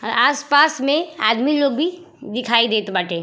अ आस पास में आदमी लोग भी दिखाई देत बाटे।